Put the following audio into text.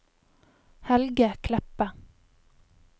Helge Kleppe